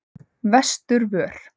Vesturvör